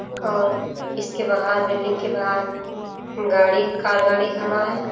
और इस के बहार बिल्डिंग के बाहर गाड़ी कार गाड़ी खड़ा है।